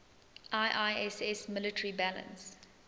iiss military balance